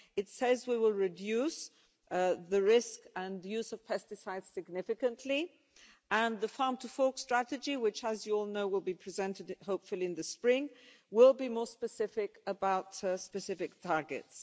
It says we will reduce the risk and use of pesticides significantly, and the farm to fork strategy, which, as you all know, will be presented, hopefully, in the spring, will be more specific about specific targets.